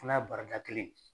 N'a baarada kelen